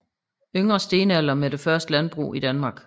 Yngre stenalder med det første landbrug i Danmark